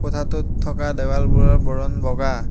কোঠাটোত থকা দেৱালবোৰৰ বৰণ বগা।